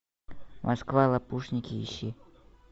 москва лопушники ищи